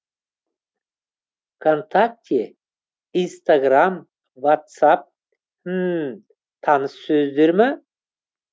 вконтакте инстаграм ватцап хммм таныс сөздер ма